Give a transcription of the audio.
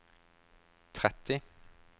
tretti